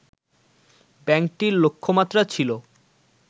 ব্যাংকটির লক্ষ্যমাত্রা ছিল